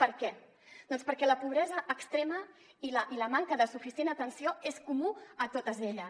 per què doncs perquè la pobresa extrema i la manca de suficient atenció és comuna a totes elles